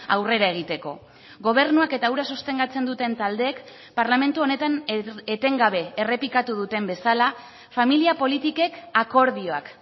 aurrera egiteko gobernuak eta hura sostengatzen duten taldeek parlamentu honetan etengabe errepikatu duten bezala familia politikek akordioak